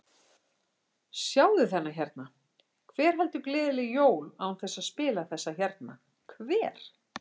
Sjáðu þennan hérna, hver heldur gleðileg jól án þess að spila þessa hérna, hver?